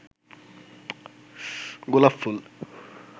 গোলাপফুল